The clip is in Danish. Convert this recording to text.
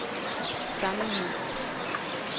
sammenhæng